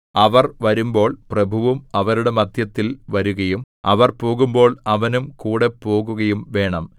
അവർ വരുമ്പോൾ പ്രഭുവും അവരുടെ മദ്ധ്യത്തിൽ വരുകയും അവർ പോകുമ്പോൾ അവനും കൂടെ പോകുകയും വേണം